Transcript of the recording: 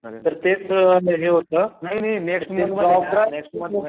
तर तेच हे होत ते जॉब ड्राईव्ह खूप मोठं